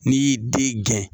N' y'i den gɛn.